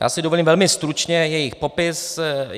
Já si dovolím velmi stručně jejich popis.